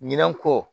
Ɲinɛn ko